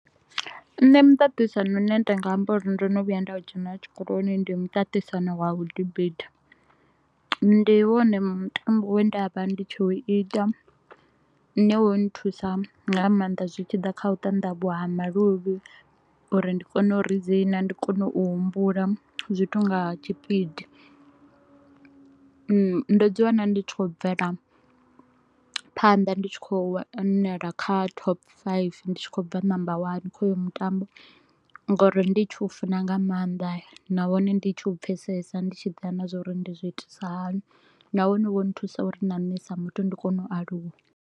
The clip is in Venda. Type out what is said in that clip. Nṋe muṱaṱisano u ne nda nga amba uri ndo no vhuya nda u dzhenela tshikoloni, ndi muṱaṱisano wa vhu debate. Ndi wone mutambo we nda vha ndi tshi u ita u ne wo nthusa nga maanḓa zwi tshi ḓa kha u tandavhuwa ha maluvhi u ri ndi kone u ridzina, ndi kone u humbula zwithu nga tshipidi. Ndo dzi wana ndi tshi kho u bvela phanḓa, ndi tshi kho u wanala kha top five. Ndi tshi kho u bva number one kha hoyo mutambo nga u ri ndi tshi u funa nga maanḓa nahone ndi tshi u pfesesa ndi tshi ḓivha na zwauri ndi zwiitisa hani nahone wo nthusa u ri na nṋe sa muthu ndi kone u aluwa